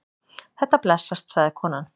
Þetta blessast, sagði konan.